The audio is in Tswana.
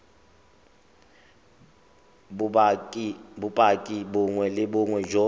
bopaki bongwe le bongwe jo